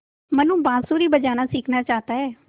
मनु बाँसुरी बजाना सीखना चाहता है